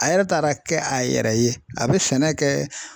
A yɛrɛ taara kɛ a yɛrɛ ye , a be sɛnɛ kɛ